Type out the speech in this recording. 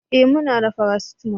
eh muna da paracetamol